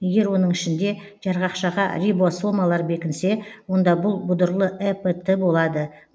егер оның ішінде жарғақшаға рибосомалар бекінсе онда бұл бұдырлы эпт болады